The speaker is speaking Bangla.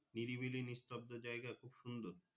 নিরি বিলি নিস্তব্দ জায়গা খুব সুন্দর।